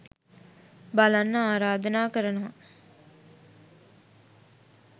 බලන්න ආරධනා කරනවා.